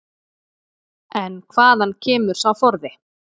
En hvaðan kemur sá forði?